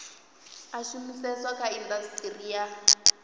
a shumiseswa kha indasiteri ya